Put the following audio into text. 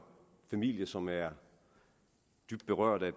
familie som er dybt berørte af